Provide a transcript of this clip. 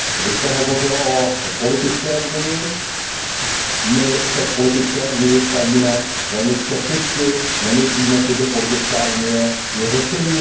Vy jste hovořil o politické unii, my se k politické unii stavíme velmi skepticky, nemyslíme si, že politická unie je řešením.